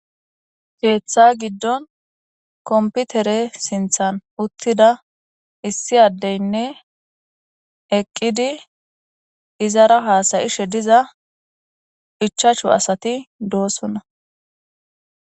Keeththa giddon komputere sinthan uttida issi addeynne eqqidi izara haasayishe diza hichachu asati doosunna.